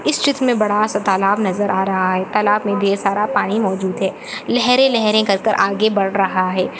इस चित्र में बड़ा सा तालाब नजर आ रहा हैं तालाब में पानी ढेर सारा पानी मौजूद हैं लहरे- लहरे कर कर आगे बढ़ रहा हैं।